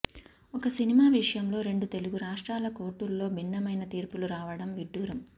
ఒక సినిమా విషయంలో రెండు తెలుగు రాష్ట్రాల కోర్టుల్లో భిన్నమైన తీర్పులు రావడం విడ్డూరం